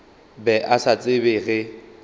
be a sa tsebe ge